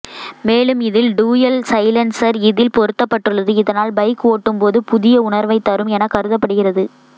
மேலும் இதில் dual silencer இதில் பொருத்தப்பட்டுள்ளது இதனால் பைக் ஓட்டும்போது புதிய உணர்வை தரும் என கருதப்படுகிறது